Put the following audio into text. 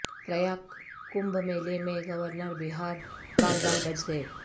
پریاگ کمبھ میلے میں گورنر بہار بال بال بچ گئے